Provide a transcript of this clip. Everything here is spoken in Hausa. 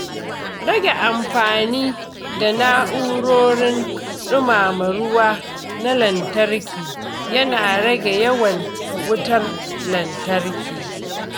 Rage amfani da na’urorin dumama ruwa na lantarki yana rage yawan wutar lantarki.